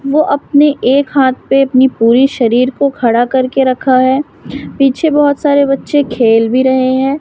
वो आपने एक हाथ पे अपनी पूरी शरीर को खड़ा करके रखा है पीछे बहोत सारे बच्चे खेल भी रहे हैं।